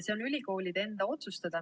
See on ülikoolide enda otsustada.